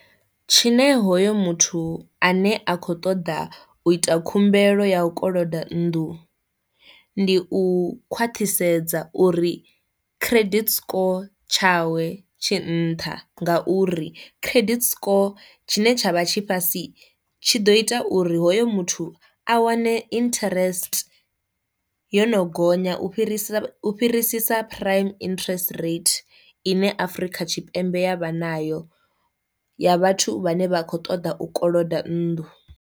Tshine hoyo muthu ane a kho ṱoḓa u ita khumbelo ya u koloda nnḓu ndi u khwaṱhisedza uri credit score tshawe tshi nṱha, nga uri credit score tshine tsha vha tshi fhasi tshi ḓo ita uri hoyo muthu a wane interest yo no gonya u fhirisa u fhirisisa prime interest rate ine Afrika Tshipembe ya vha nayo ya vhathu vhane vha kho ṱoḓa u koloda nnḓu.